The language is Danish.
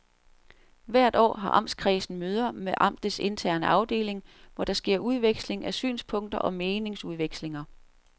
Hvert år har amtskredsen møder med amtets interne afdeling, hvor der sker udveksling af synspunkter og meningsudvekslinger.